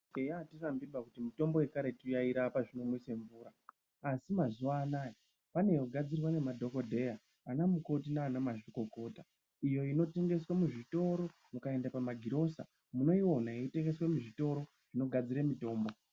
Eya atirambiba kuti mitombo yekaretu yairapa zvinomwise mvura asi mazuwa anaya pane yogadzirwa ngemadhokodheya, ana mukoti nanamazvikokota iyo inotengeswe muzvitoro .Mukaende pamagirosa munoiwona yeyitengeswe muzvitoro zvinogadzire mitombo.